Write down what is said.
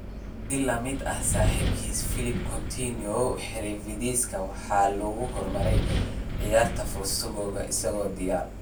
Si la mid ah saaxiibkiis Phillipe Coutinho, xirfadihiisa waxaa lagu hormariyay ciyaarista Futsal isagoo da'yar.